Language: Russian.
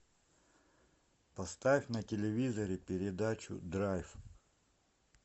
поставь на телевизоре передачу драйв